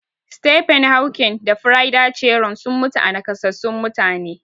Stephen Hawking da Frida Cheron sun mutu a nakasassun mutane.